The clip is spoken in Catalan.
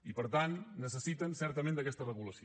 i per tant necessiten certament aquesta regulació